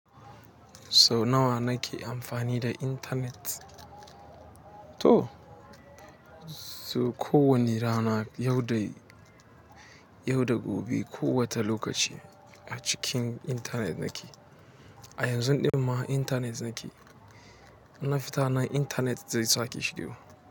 Sau nawa nake amfani da internet? To, so ko wane rana, yau da, gobe da gobe kowace lokaci a cikin internet nake. A yanzun ɗin ma internet nake. Na fita nan internet zai sake shigo.